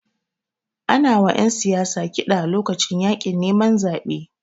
Ana wa ƴan siyasa kiɗa lokacin yaƙin neman zabe.